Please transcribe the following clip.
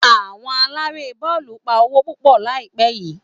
Àwọn Aláré bọ́ọ̀lù ń pa owó púpọ̀ ní àìpẹ́ yìí